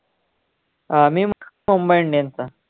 अं मी मुंबई indians चा